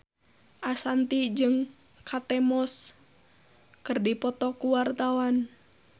Ashanti jeung Kate Moss keur dipoto ku wartawan